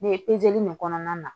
Ne ye in kɔnɔna na